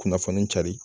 Kunnafoni cari